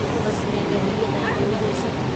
बस में दहलीअ ताईं वियो होसि।